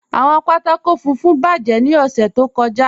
Awọn pátákò fùnfún bájẹ̀ ni ọ̀ṣẹ̀ tó kọ́já.